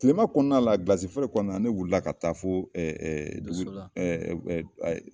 Tilema kɔnɔna la, gilasi feere kɔnɔna na ne wilila ka taa fo zu